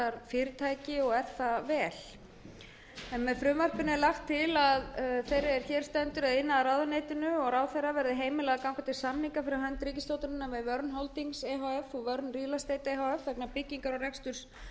fyrirtæki og er það vel með frumvarpinu er lagt til að iðnaðarráðuneytinu og ráðherra verði heimilað að ganga til samninga fyrir hönd ríkisstjórnarinnar við verne holdings e h f og verne real estate e h f vegna byggingar og reksturs gagnavers